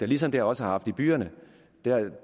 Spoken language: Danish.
ligesom det også har haft i byerne